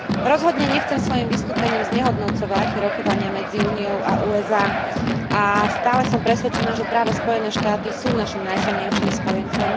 Rozhodne nechcem svojim vystúpením znehodnocovať rokovania medzi Úniou a USA, a stále som presvedčená, že práve Spojené štáty sú našim najsilnejším spojencom.